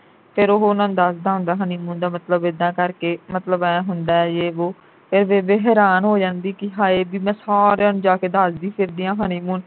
ਫਿਰ ਉਹ ਉਨ੍ਹਾਂ ਨੂੰ ਦੱਸਦਾ ਹੁੰਦਾ honeymoon ਦਾ ਮਤਲਬ ਇੱਦਾਂ ਕਰਕੇ ਮਤਲਬ ਇਹ ਹੁੰਦਾ ਯੇਹ ਵੋ ਫਿਰ ਬੇਬੇ ਹੈਰਾਨ ਹੋ ਜਾਂਦੀ ਕਿ ਹਏ ਬਈ ਮੈਂ ਸਾਰਿਆਂ ਨੂੰ ਜਾ ਕੇ ਦੱਸਦੀ ਫਿਰਦੀ ਆ honeymoon